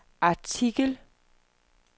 artikel